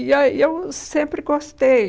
E a e eu sempre gostei.